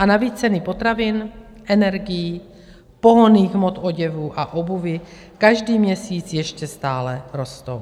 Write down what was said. A navíc ceny potravin, energií, pohonných hmot, oděvů a obuvi každý měsíc ještě stále rostou.